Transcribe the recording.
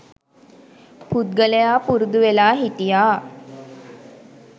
පුද්ගලයා පුරුදු වෙලා හිටියා